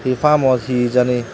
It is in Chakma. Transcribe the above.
he parm house he jani.